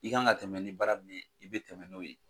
I' kan ka tɛmɛ ni baara min ye i bɛ tɛmɛ n'o ye.